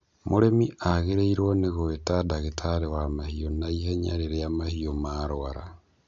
Mũrĩmi agĩrĩirwo nĩ gũĩta ndagĩtarĩ wa mahiũ naihenya rĩrĩa mahiũ marũara.